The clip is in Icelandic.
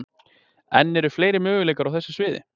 En eru fleiri möguleikar á þessu sviði?